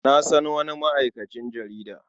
Na san wani ma'aikacin jarida.